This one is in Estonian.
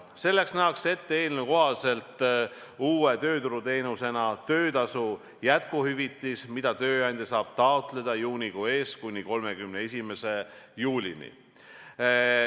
Selleks nähakse eelnõus uue tööturuteenusena ette töötasu jätkuhüvitis, mida tööandaja saab taotleda juunikuu eest kuni 31. juulini.